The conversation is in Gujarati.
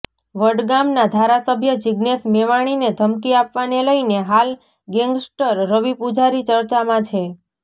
વડગામના ધારાસભ્ય જીજ્ઞેશ મેવાણીને ધમકી આપવાને લઇને હાલ ગેંગસ્ટર રવિ પુજારી ચર્ચામાં છે